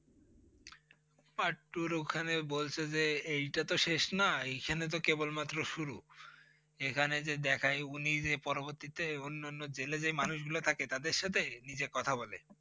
Part two -ওর এখানে বলছে যে এইটা তো শেষ নয় এখানে কেবলমাত্র শুরু। এখানে যে দেখায় উনি যে পরবর্তীতে অন্য অন্য জেলে যেই মানুষগুলো থাকে তাদের সাথে নিজে কথা বলে।